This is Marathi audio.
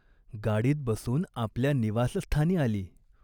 गाडीत बसून आपल्या निवासस्थानी आली.